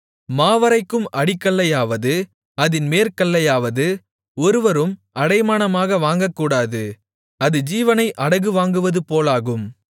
மாவரைக்கும் அடிக்கல்லையாவது அதின் மேற்கல்லையாவது ஒருவரும் அடைமானமாக வாங்கக்கூடாது அது ஜீவனை அடகு வாங்குவதுபோலாகும்